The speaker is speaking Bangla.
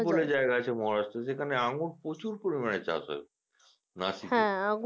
গাছে যেখানে আঙ্গুর প্রচুর পরিমানে চাষ হয়।